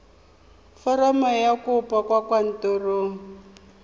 foromo ya kopo kwa kantorong